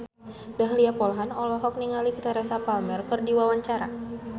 Dahlia Poland olohok ningali Teresa Palmer keur diwawancara